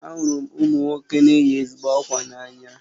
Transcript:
Ahụru m ụmụ nwoke na-eyi ezigbo ákwà n'anya